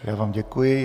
Já vám děkuji.